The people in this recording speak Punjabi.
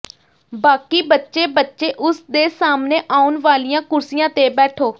ਬਾਕੀ ਬਚੇ ਬੱਚੇ ਉਸ ਦੇ ਸਾਹਮਣੇ ਆਉਣ ਵਾਲੀਆਂ ਕੁਰਸੀਆਂ ਤੇ ਬੈਠੋ